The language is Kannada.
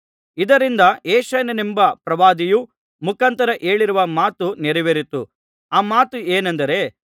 ಇದರಿಂದ ಯೆಶಾಯನೆಂಬ ಪ್ರವಾದಿಯ ಮುಖಾಂತರ ಹೇಳಿರುವ ಮಾತು ನೆರವೇರಿತು ಆ ಮಾತು ಏನೆಂದರೆ